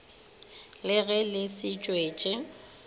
le ge le le setswetši